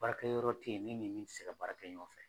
Baarakɛ yɔrɔ tɛ yen ne ni min tɛ se ka baarakɛ ɲɔgɔn fɛ.